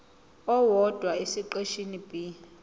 owodwa esiqeshini b